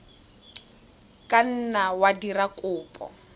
ka nna wa dira kopo